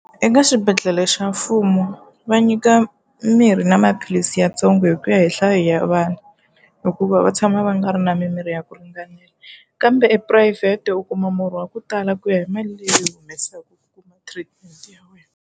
Eka xibedhlele xa mfumo va nyika mirhi na maphilisi yatsongo hi ku ya hi nhlayo ya vanhu, hikuva va tshama va nga ri na mimirhi ya ku ringanela. Kambe ephurayivhete u kuma murhi wa ku tala ku ya hi mali leyi u yi humesaka u kuma treatment ya wena.